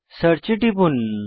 search এ টিপুন